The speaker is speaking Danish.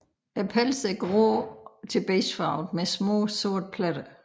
Pelsen er grå til beigefarvet med små sorte pletter